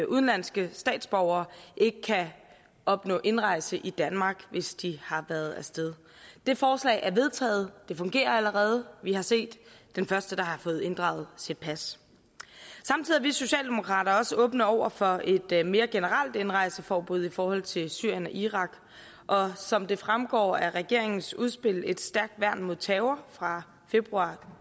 udenlandske statsborgere ikke kan opnå indrejse i danmark hvis de har været af sted det forslag er vedtaget det fungerer allerede vi har set den første der har fået inddraget sit pas samtidig er vi socialdemokrater også åbne over for et mere generelt indrejseforbud i forhold til syrien og irak og som det fremgår af regeringens udspil et stærkt værn mod terror fra februar